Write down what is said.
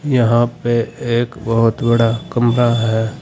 यहां पे एक बहुत बड़ा कमरा है।